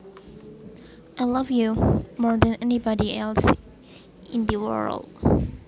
I love you more than anybody else in the world